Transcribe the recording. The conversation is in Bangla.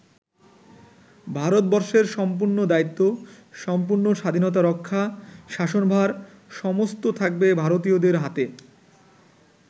ভারতবর্ষের সম্পূর্ণ দায়িত্ব, সম্পূর্ণ স্বাধীনতা-রক্ষা, শাসনভার, সমস্ত থাকবে ভারতীয়দের হাতে।